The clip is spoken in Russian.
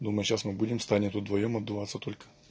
ну мы сейчас мы будем с таней вдвоём отдуваться только